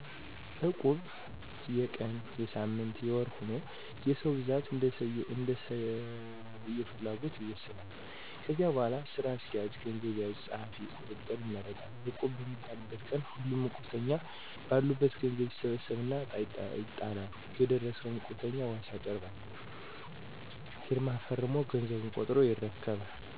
እቁብ የቀን: የሳምንት :የወር ሁኖ የሰው ብዛት እንደየሰዉፍላጎትይወሰናል። ከዚያ በሗላ ስራ አስኪያጅ፣ ገንዘብ ያዥ፣ ፀሀፊ፣ ቁጥጥር ይመረጣል። እቁቡ በሚጣልበት ቀን ሁሉም እቁብተኞ በአሉበት ገዘቡ ይሠበሠብና እጣ ይጣላል የደረሠው እቁብተኛ ዋስ ያቀርባል ፊርማ ፈረሞ ገዘቡን ቆጥሮ ይረከባል።